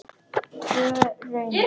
Tvö raunar.